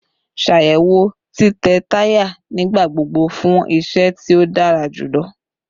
Ṣayẹwo titẹ taya nigbagbogbo fun iṣẹ ti o dara julọ